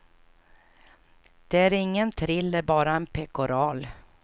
Det är ingen thriller, bara ett pekoral.